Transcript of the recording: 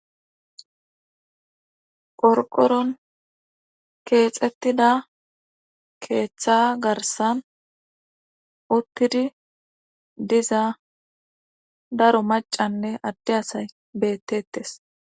Qorqoron keexettida keeththa garsan uttidi diiza daro macanne adde asay bettetees